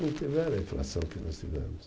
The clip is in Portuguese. Não tiveram a inflação que nós tivemos.